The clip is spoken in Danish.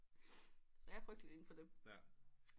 Så jeg er frygtelig inde for dem